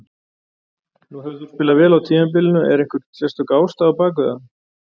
Nú hefur þú spilað vel á tímabilinu, er einhver sérstök ástæða á bak við það?